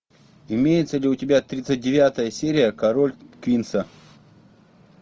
имеется ли у тебя тридцать девятая серия король квинса